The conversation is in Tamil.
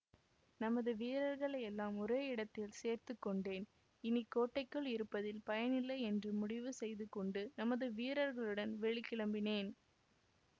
நமது வீரர்களையெல்லாம் ஒரே இடத்தில் சேர்த்துக்கொண்டேன் இனி கோட்டைக்குள் இருப்பதில் பயனில்லை என்று முடிவு செய்து கொண்டு நமது வீரர்களுடன் வெளி கிளம்பினேன்